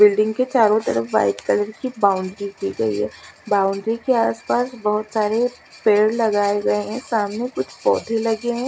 Building के चारों तरफ वाइट कलर की बाउंड्री की गयी है बाउंड्री के आस पास बहुत सारे पेड़ लगाये गये हैं सामने कुछ पौधे लगे हैं।